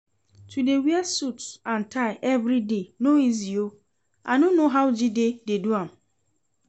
To dey wear suit and tie everyday no easy oo, I no know how Jide dey do am